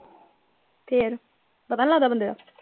ਫੇਰ ਪਤਾ ਨਈ ਲਗਦਾ ਬੰਦੇ ਦਾ।